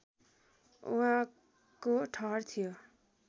उहाँको ठहर थियो